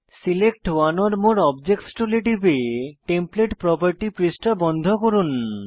select one or more objects টুলে টিপে template property পৃষ্ঠা বন্ধ করুন